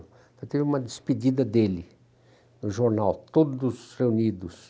Então teve uma despedida dele no jornal, todos reunidos.